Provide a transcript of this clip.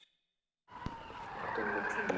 Assa, hvenær kemur strætó númer tíu?